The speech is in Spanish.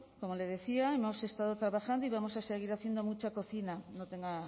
como le decía hemos estado trabajando y vamos a seguir haciendo mucha cocina no tenga